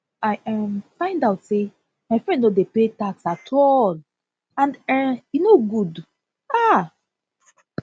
i um find out say my friend no dey pay pay tax at all and um e no good um